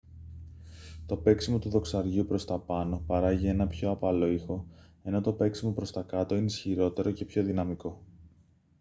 το παίξιμο του δοξαριού προς τα πάνω παράγει έναν πιο απαλό ήχο ενώ το παίξιμο προς τα κάτω είναι ισχυρότερο και πιο δυναμικό